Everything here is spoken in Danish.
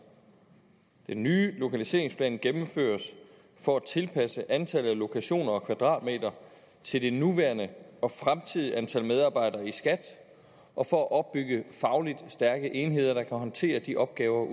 den nye lokaliseringsplan gennemføres for at tilpasse antallet af lokationer og kvadratmeter til det nuværende og fremtidige antal medarbejdere i skat og for at opbygge fagligt stærke enheder der kan håndtere de opgaver